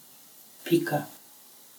Pika.